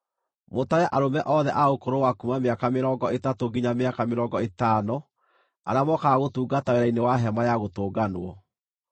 Mũtare arũme othe a ũkũrũ wa kuuma mĩaka mĩrongo ĩtatũ nginya mĩaka mĩrongo ĩtano arĩa mokaga gũtungata wĩra-inĩ wa Hema-ya-Gũtũnganwo.